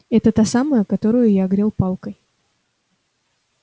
это та самая которую я огрёл палкой